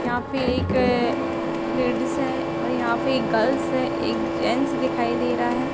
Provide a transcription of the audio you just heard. यहाँ पे एक अ लेडीज है। और यहाँ पे एक गर्ल्स है। एक गेंट्स दिखाई दे रहा है।